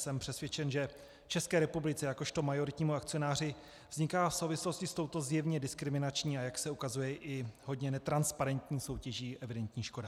Jsem přesvědčen, že České republice jakožto majoritnímu akcionáři vzniká v souvislosti s touto zjevně diskriminační, a jak se ukazuje i hodně netransparentní soutěží evidentní škoda.